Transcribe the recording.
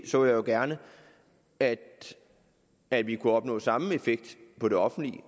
så jo gerne at at vi kunne opnå den samme effekt på det offentlige